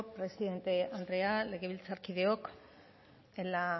presidente andrea legebiltzarkideok en la